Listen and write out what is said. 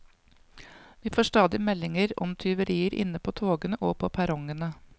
Vi får stadig meldinger om tyverier inne på togene og på perrongene.